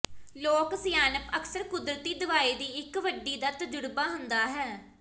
ਲੋਕ ਸਿਆਣਪ ਅਕਸਰ ਕੁਦਰਤੀ ਦਵਾਈ ਦੀ ਇੱਕ ਵੱਡੀ ਦਾ ਤਜਰਬਾ ਹੁੰਦਾ ਹੈ